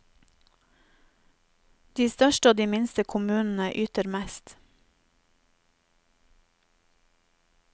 De største og de minste kommunene yter mest.